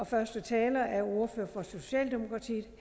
første taler er ordføreren for socialdemokratiet